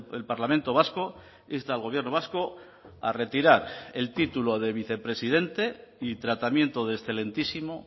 el parlamento vasco insta al gobierno vasco a retirar el título de vicepresidente y tratamiento de excelentísimo